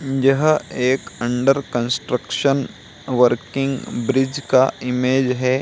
यह एक under construction working bridge का इमेज है।